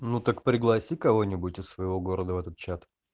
ну так пригласи кого-нибудь из своего города в этот чат